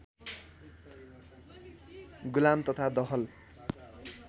गुलाम तथा दहल